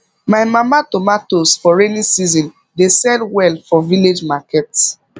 my mama tomatoes for rainy season dey sell well for village market